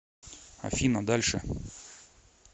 афина дальше